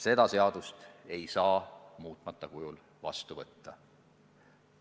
Seda seadust ei saa muutmata kujul vastu võtta.